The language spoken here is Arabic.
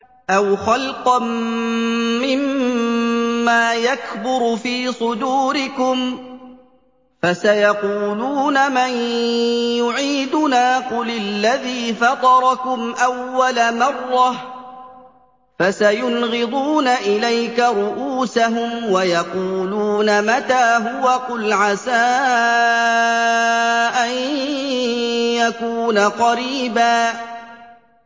أَوْ خَلْقًا مِّمَّا يَكْبُرُ فِي صُدُورِكُمْ ۚ فَسَيَقُولُونَ مَن يُعِيدُنَا ۖ قُلِ الَّذِي فَطَرَكُمْ أَوَّلَ مَرَّةٍ ۚ فَسَيُنْغِضُونَ إِلَيْكَ رُءُوسَهُمْ وَيَقُولُونَ مَتَىٰ هُوَ ۖ قُلْ عَسَىٰ أَن يَكُونَ قَرِيبًا